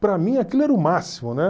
Para mim aquilo era o máximo, né?